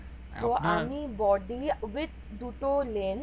body with দুটো lens